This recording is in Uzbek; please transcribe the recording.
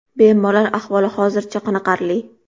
Bemorlar ahvoli hozircha qoniqarli.